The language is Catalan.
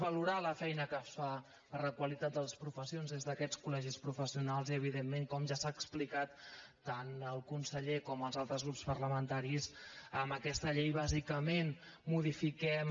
valorar la feina que es fa per la qualitat de les professions des d’aquests col·dentment com ja han explicat tant el conseller com els altres grups parlamentaris amb aquesta llei bàsicament modifiquem